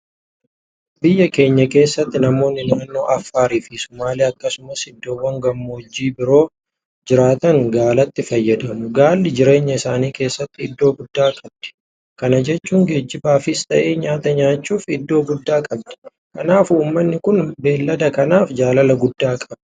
Biyya keenya keessatti namoonni naannoo Affaariifi Sumaalee akkasumas iddoowwam gammoojjii biroo keessa jiraatan gaalatti fayyadamu. Gaalli jireenya isaanii keessatti iddoo guddaa qabdi. Kana jechuun geejibaafis ta'ee nyaachuudhaaf iddoo guddaa qabdi. Kanaaf uummanni kun beellada kanaaf jaalala guddaa qaba.